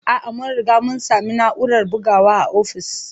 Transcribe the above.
A'a, mun riga mun sami na'urar bugawa a ofis.